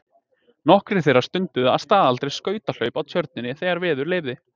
Nokkrir þeirra stunduðu að staðaldri skautahlaup á Tjörninni þegar veður leyfði.